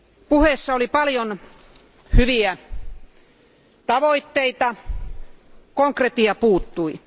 Puheessa oli paljon hyviä tavoitteita, mutta konkretia puuttui.